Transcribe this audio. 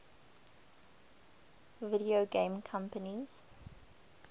video game companies